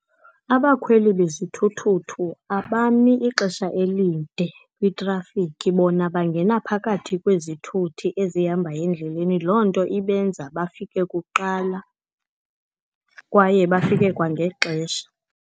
Abakhweli bezithuthuthu abami ixesha elide kwitrafikhi. Bona bangena phakathi kwezithuthi ezihambayo endleleni. Loo nto ibenza bafike kuqala, kwaye bafike kwangexesha.